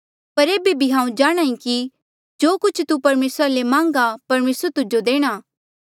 पर एेबे भी हांऊँ जाणहां ईं कि जो कुछ तू परमेसरा ले मांगघा परमेसरा तुजो देणा